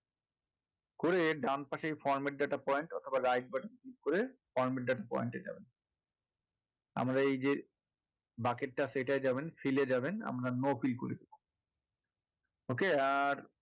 করে ডানপাশে এই format data point অথবা right button click করে format data point এ যাবেন আমরা এই যে bucket টা সেইটায় যাবেন fill এ যাবেন আমরা no fill করবো okay আর